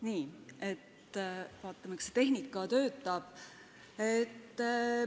Nii, vaatame, kas tehnika töötab.